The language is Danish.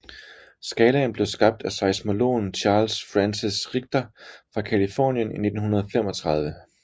Skalaen blev skabt af seismologen Charles Francis Richter fra Californien i 1935